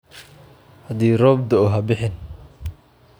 Haddii roob da'o, ha bixin.